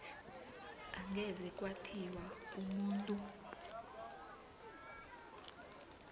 angeze kwathiwa umuntu